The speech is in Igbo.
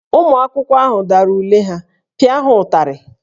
Ụmụ akwụkwọ ahụ dara ule ha, pịa ha ụtarị!